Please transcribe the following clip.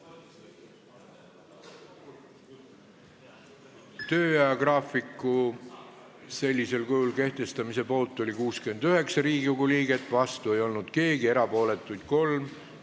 Hääletustulemused Tööajagraafiku sellisel kujul kehtestamise poolt oli 69 Riigikogu liiget, vastu ei olnud keegi, erapooletuid oli kolm.